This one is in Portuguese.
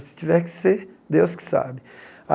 Se tiver que ser, Deus que sabe.